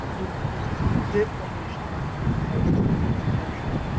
e must dey punished and e must leave di kontri